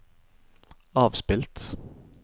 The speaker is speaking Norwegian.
avspilt